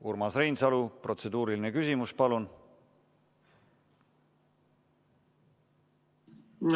Urmas Reinsalu, protseduuriline küsimus, palun!